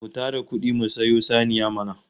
Mu tara kudi mu sayo saniya mana!